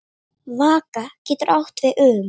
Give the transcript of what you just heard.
Vaka getur átt við um